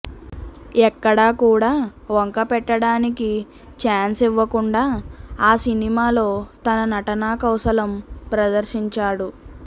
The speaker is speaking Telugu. ఎక్కడా కూడా వంకపెట్టడానికి ఛాన్స్ ఇవ్వకుండా ఆ సినిమాలో తన నటనా కౌశలం ప్రదర్షించాడు